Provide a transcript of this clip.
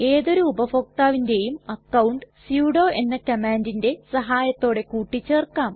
ഏതൊരു ഉപഭോക്താവിന്റേയും account sudo എന്ന കമ്മാണ്ടിന്റെ സഹായത്തോടെ കൂട്ടിച്ചേർക്കാം